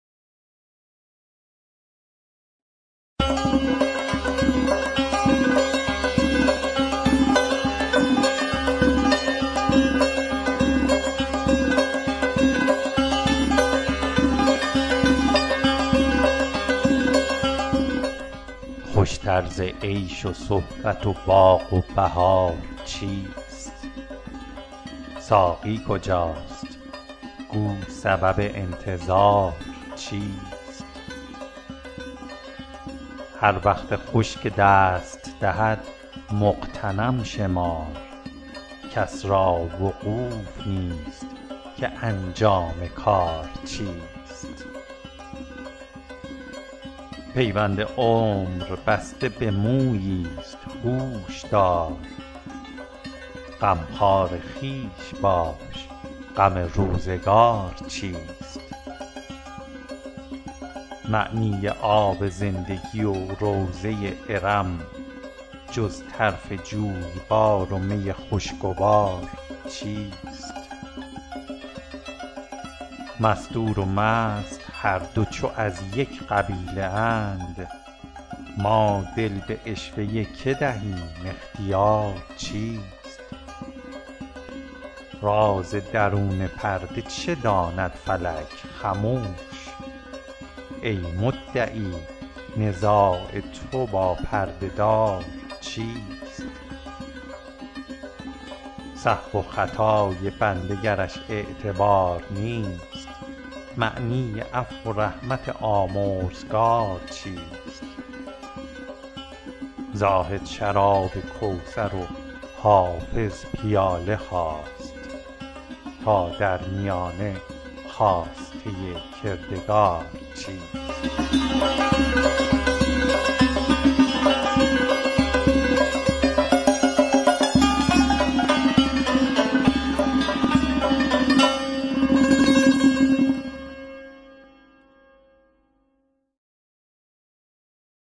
خوش تر ز عیش و صحبت و باغ و بهار چیست ساقی کجاست گو سبب انتظار چیست هر وقت خوش که دست دهد مغتنم شمار کس را وقوف نیست که انجام کار چیست پیوند عمر بسته به مویی ست هوش دار غمخوار خویش باش غم روزگار چیست معنی آب زندگی و روضه ارم جز طرف جویبار و می خوشگوار چیست مستور و مست هر دو چو از یک قبیله اند ما دل به عشوه که دهیم اختیار چیست راز درون پرده چه داند فلک خموش ای مدعی نزاع تو با پرده دار چیست سهو و خطای بنده گرش اعتبار نیست معنی عفو و رحمت آمرزگار چیست زاهد شراب کوثر و حافظ پیاله خواست تا در میانه خواسته کردگار چیست